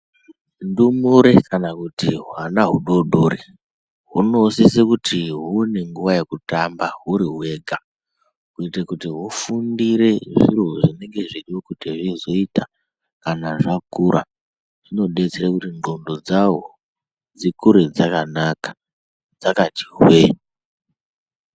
Ndumure kana kuti hwana hudoodori hunosise kuti huone nguwa yekutamba huri hwega, kuite kuti hufundire zviro zvinenge zveidiwe kuti zvizoita kana zvakura. Zvinodetsera kuti ndlqondo dzawo dzikure dzakanaka dzakati hwee.